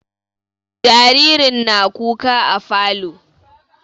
Jaririn na kuka a falo